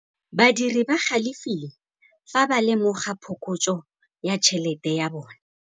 Badiri ba galefile fa ba lemoga phokotsô ya tšhelête ya bone.